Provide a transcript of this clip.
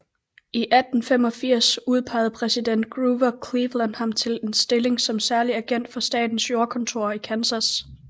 I 1885 udpegede præsident Grover Cleveland ham til en stilling som særlig agent for Statens Jordkontor i Kansas